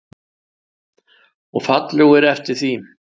Og fallegur eftir því.